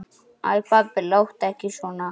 Æ pabbi, láttu ekki svona.